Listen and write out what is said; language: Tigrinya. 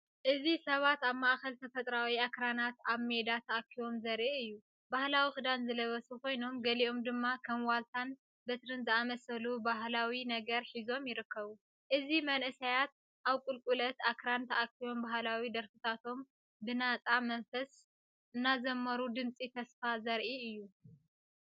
እዚ ሰባት ኣብ ማእከል ተፈጥሮኣዊ ኣኽራናት ኣብ ሜዳ ተኣኪቦም ዘርኢ እዩ። ባህላዊ ክዳን ዝለበሱ ኮይኖም፡ገሊኦም ድማ ከም ዋልታን በትሪን ዝኣመሰሉ ባህላዊ ነገር ሒዞምይርከቡ። እዚ መንእሰያት ኣብቁልቁለት ኣኽራን ተኣኪቦም ባህላዊ ደርፍታቶም ብናጻ መንፈስ እናዘመሩ ድምጺ ተስፋ ዘርኢ እዩ።